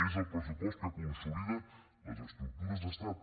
és el pressupost que consolida les estructures d’estat